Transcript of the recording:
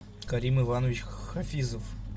карим иванович хафизов